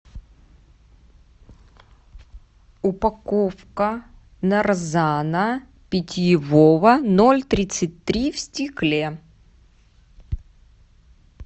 упаковка нарзана питьевого ноль тридцать три в стекле